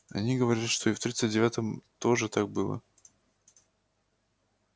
они говорят что и в тридцать девятом тоже так было